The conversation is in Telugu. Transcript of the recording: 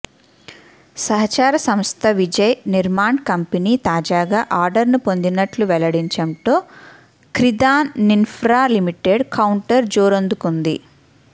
సహచర సంస్థ విజయ్ నిర్మాణ్ కంపెనీ తాజాగా ఆర్డర్ను పొందినట్లు వెల్లడించడంతో క్రిధాన్ ఇన్ఫ్రా లిమిటెడ్ కౌంటర్ జోరందుకుంది